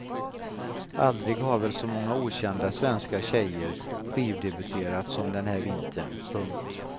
Aldrig har väl så många okända svenska tjejer skivdebuterat som den här vintern. punkt